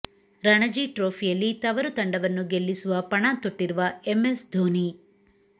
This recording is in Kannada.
ರಣಜಿ ಟ್ರೋಫಿಯಲ್ಲಿ ತವರು ತಂಡವನ್ನು ಗೆಲ್ಲಿಸುವ ಪಣ ತೊಟ್ಟಿರುವ ಎಂಎಸ್ ಧೋನಿ